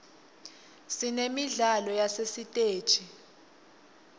sinemidlalo yasesiteji